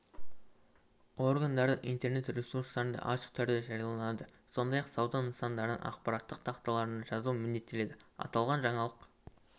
органдардың интернет ресурстарында ашық түрде жарияланады сондай-ақ сауда нысандарының ақпараттық тақталарына жазу міндеттеледі аталған жаңалық